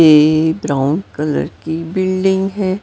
ये brown colour की building है।